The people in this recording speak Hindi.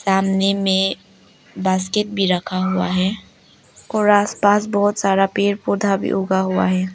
सामने में बास्केट भी रखा हुआ है और आस पास बहोत सारा पेड़ पौधा भी उगा हुआ है।